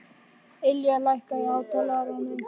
Ylja, lækkaðu í hátalaranum.